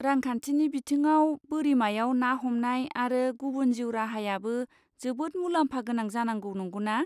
रांखान्थिनि बिथिङाव बोरिमायाव ना हमनाय आरो गुबुन जिउ राहायाबो जोबोद मुलाम्फा गोनां जानांगौ, नंगौना?